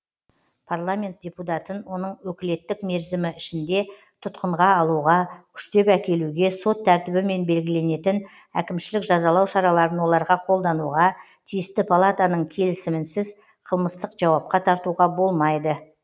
парламент депутатын оның өкілеттік мерзімі ішінде тұтқынға алуға күштеп әкелуге сот тәртібімен белгіленетін әкімшілік жазалау шараларын оларға қолдануға тиісті палатаның келісімінсіз қылмыстық жауапқа тартуға болмайды